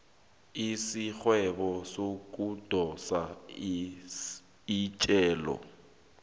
isigwebo sokudosa ejele